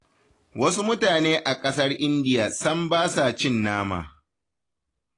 Wasu mutane a ƙasar Indiya sam ba sa cin nama.